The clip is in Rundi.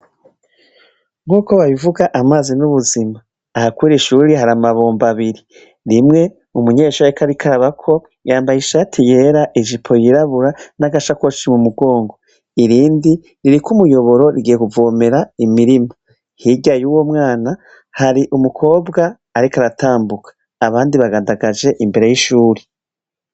Nk'uko babivuga amazi n'ubuzima, ahakwira ishuri hari amabomba abiri rimwe umunyeshuri ekarikarabako yambaye ishati yera ejipo yirabura n'agasa koci mu mugongo irindi ririko umuyoboro rigiye kuvomera imirima hirya y'uwo mwana hari umukobwa areka ara tamu mbuka abandi bagandagaje imbere y'ishuri.